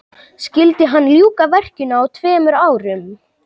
skyldi hann ljúka verkinu á tveimur árum